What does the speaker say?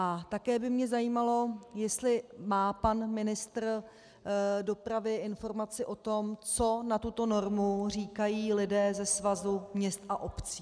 A také by mě zajímalo, jestli má pan ministr dopravy informace o tom, co na tuto normu říkají lidé se Svazu měst a obcí.